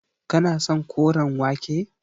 Kana son koren wake.